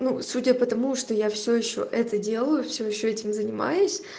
ну судя потому что я все ещё это делаю все ещё этим занимаюсь